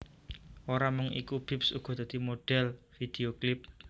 Ora mung iku Bips uga dadi modhèl vidhéo klip